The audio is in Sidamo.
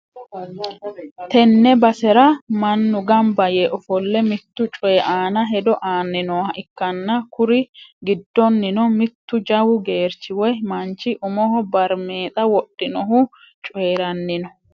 tenne basera mannu gamba yee ofolle mittu coy aana hedo aanni nooha ikkanna, kuri giddoonnino mittu jawu gerchi woy manchi umoho barimeexa wodhinohu coyranni no.